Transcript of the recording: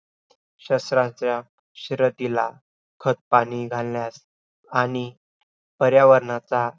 आम्ही शरीर आत्मा इंद्रिय मन यांच्या संयोग म्हणजेच आयुष्य